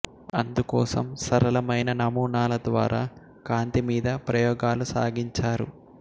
అందుకోసం సరళమైన నమూనాల ద్వారా కాంతి మీద ప్రయోగాలు సాగించారు